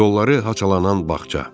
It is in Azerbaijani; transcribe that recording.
Yolları haçalanan bağça.